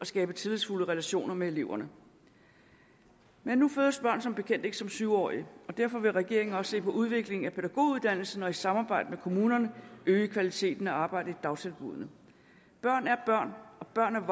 skabe tillidsfulde relationer med eleverne men nu fødes børn som bekendt ikke som syv årige derfor vil regeringen også se på udviklingen af pædagoguddannelsen og et samarbejde med kommunerne øge kvaliteten af arbejdet i dagtilbuddene børn er børn og børnene